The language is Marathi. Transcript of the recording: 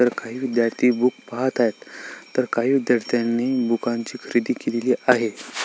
तर काही विद्यार्थी बूक पाहत आहेत तर काही विद्यार्थ्यांनी बुकांची खरेदी केलेली आहे.